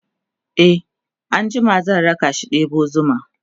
e an jima zan rakashi ɗebo zuma